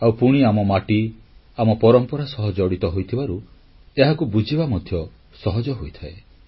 ଆଉ ପୁଣି ଆମ ମାଟି ଆମ ପରମ୍ପରା ସହ ଜଡ଼ିତ ହୋଇଥିବାରୁ ଏହାକୁ ବୁଝିବା ମଧ୍ୟ ସହଜ ହୋଇଥାଏ